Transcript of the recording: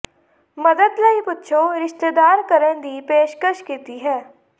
ਮਦਦ ਲਈ ਪੁੱਛੋ ਰਿਸ਼ਤੇਦਾਰ ਕਰਨ ਦੀ ਪੇਸ਼ਕਸ਼ ਕੀਤੀ ਹੈ